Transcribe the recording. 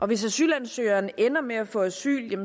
hvis asylansøgeren ender med at få asyl